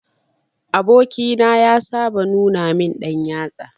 Aboki na ya saba nuna min dan yatsa.